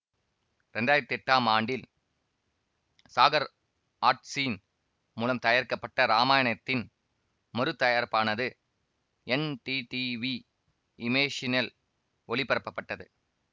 இரண்டாயிரத்தி எட்டாம் ஆண்டில் சாகர் ஆர்ட்சின் மூலம் தயாரிக்கப்பட்ட இராமாயணத்தின் மறுதயாரிப்பானது என்டிடிவி இமேசினல் ஒளிபரப்பப்பட்டது